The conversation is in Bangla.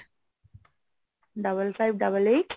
double five double eight